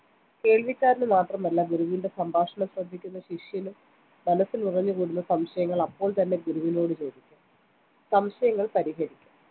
കേൾവിക്കാരനു മാത്രമല്ല ഗുരുവിന്റെ സംഭാഷണം ശ്രദ്ധിക്കുന്ന ശിഷ്യനും മനസ്സിൽ ഉറഞ്ഞുകൂടുന്ന സംശയങ്ങൾ അപ്പോൾത്തന്നെ ഗുരുവിനോടു ചോദിക്കാം സംശയങ്ങൾ പരിഹരിക്കാം